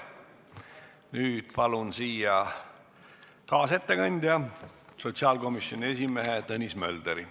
Nüüd palun siia kaasettekandja sotsiaalkomisjoni esimehe Tõnis Mölderi.